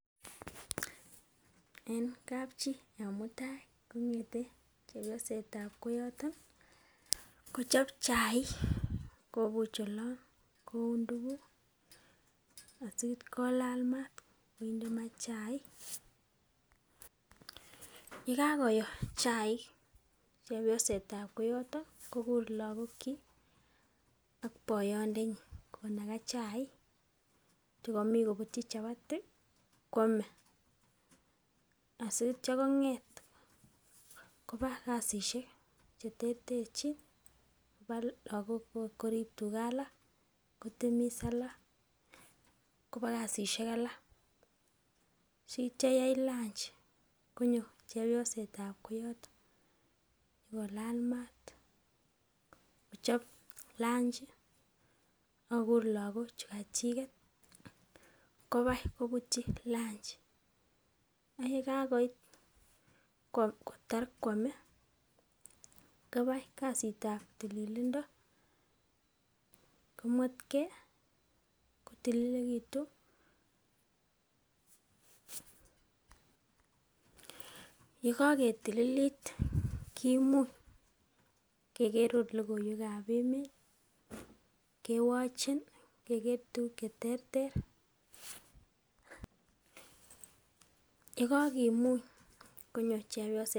En kapchii en mutai kongeten chepsosetab koyoton kochob chaik kobuvh olon, koun tukuk si ityo kolal maat kinde maat chaik. Yekakiyo chaik chepsosetab koyoton ko kur lokokyik ak boyondenyin kinaka chaik nkotko komii kobutchi chapati kwome asityo konget koba kasishek charterchin koba lokok kotib tugaa alak kotemis alak koba kasishek alak. Sityo koit lunchi konyo chepsosetab koyoton nyokolal maat kochop lunchi ak kokur lokok chuu kachimet kobai koburyo lunchi . Ak yekakoit kotar kwome koba kasitab tililindo komwetgee kotililekitun, yekoketililit kimuny Keker ot lokoiwekab emet kewochen Keker tukuk cheterter. Yekokimuny konyo chooyosetab.